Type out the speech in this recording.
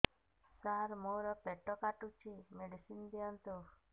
ସାର ମୋର ପେଟ କାଟୁଚି ମେଡିସିନ ଦିଆଉନ୍ତୁ